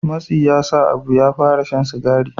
Matsi yasa abu ya fara shan sigari